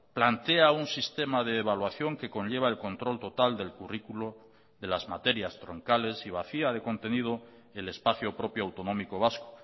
plantea un sistema de evaluación que conlleva el control total del currículo de las materias troncales y vacía de contenido el espacio propio autonómico vasco